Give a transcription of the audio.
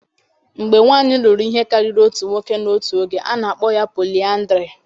Mgbe nwanyị lụrụ ihe karịrị otu nwoke n'otu oge, a na-akpọ ya polịyandrị